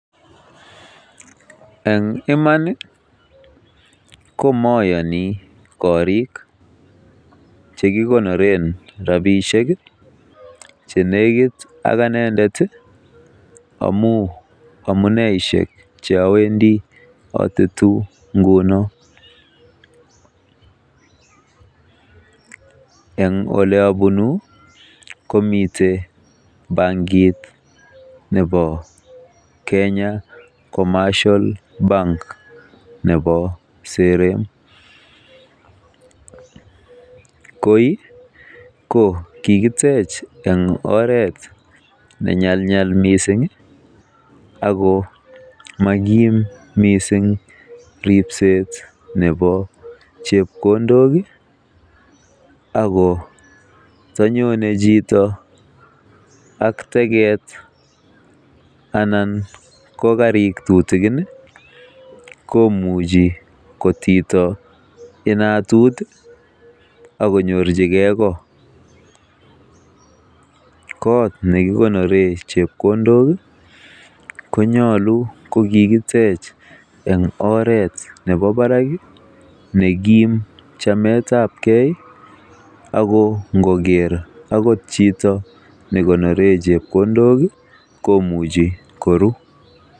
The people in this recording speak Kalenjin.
En iman ko moyoni korik ch ekikonoren rabishek che negit ak anendet amun en amuneishek che awendi atetu ngunon: En ole abunu komiten bankit nebo Kenya Commercial Bank nebo sere. Koi ko kigitech en oret nenyelnyel mising ago mokim miisng ripset nebo chepkondok ago ndonyone chito ak teget anan ko karik tutikin komuchi kotito inatut ak konyorchige ko. Kot ne kikoneren chepkondok konyolu ko kigitech en oret nebo barak nekim chametab ge ago ngoker agot chit ne konoren chepkondokkouchi koruu.